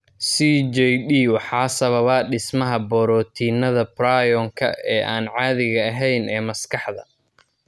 CJD waxaa sababa dhismaha borotiinnada prion-ka ee aan caadiga ahayn ee maskaxda.